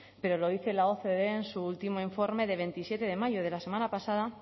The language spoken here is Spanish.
pero lo dice la ocde en su último informe de veintisiete de mayo de la semana pasada